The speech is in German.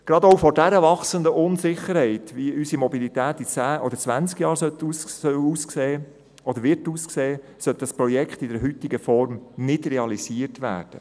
Gerade auch angesichts dieser wachsenden Unsicherheit, wie unsere Mobilität in zehn oder zwanzig Jahren aussehen soll oder wird, sollte dieses Projekt nicht in der heutigen Form realisiert werden.